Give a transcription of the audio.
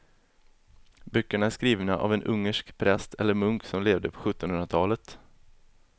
Böckerna är skrivna av en ungersk präst eller munk som levde på sjuttonhundratalet.